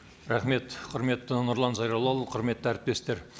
рахмет құрметті нұрлан зайроллаұлы құрметті әріптестер